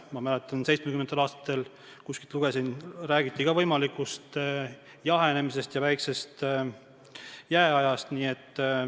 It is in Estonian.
1970-ndatel – ma kuskilt lugesin – räägiti võimalikust jahenemisest ja väikesest jääajast.